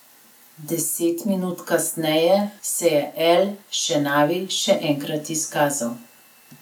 Deset minut kasneje se je El Šenavi še enkrat izkazal.